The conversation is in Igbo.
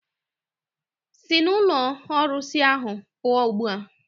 Sị n'ụlọ ndị ọrụsị ahụ pụọ ugbu a!